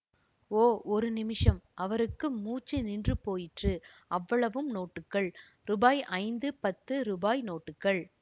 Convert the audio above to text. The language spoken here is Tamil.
ஓ ஒரு நிமிஷம் அவருக்கு மூச்சு நின்று போயிற்று அவ்வளவும் நோட்டுகள் ரூபாய் ஐந்து பத்து ரூபாய் நோட்டுகள்